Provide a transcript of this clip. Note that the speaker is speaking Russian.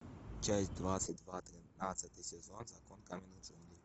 часть двадцать два тринадцатый сезон закон каменных джунглей